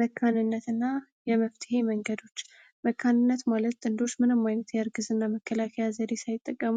መካንነትና የመፍትሄ መንገዶች መካንነት ማለት ጥንዶች ምንም አይነት የእርግዝና መከላከያ ዘዴ ሳይጠቀሙ